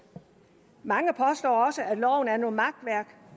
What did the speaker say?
mange påstår også at loven er noget makværk